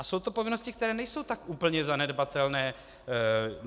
A jsou to povinnosti, které nejsou tak úplně zanedbatelné.